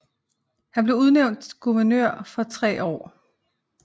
Han blev udnævnt guvernør for tre år